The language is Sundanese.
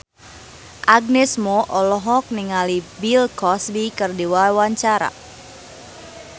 Agnes Mo olohok ningali Bill Cosby keur diwawancara